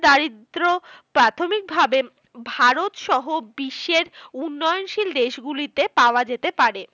দারিদ্র প্রাথমিকভাবে ভারতসহ বিশ্বের উন্নয়নশীল দেশগুলিতে পাওয়া যেতে পারে।